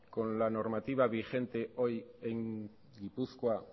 con la normativa vigente hoy en gipuzkoa